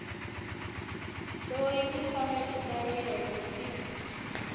loyi timfanelo ta yena ti